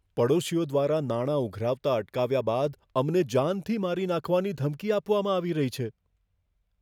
પડોશીઓ દ્વારા નાણાં ઉઘરાવતા અટકાવ્યા બાદ અમને જાનથી મારી નાખવાની ધમકી આપવામાં આવી રહી છે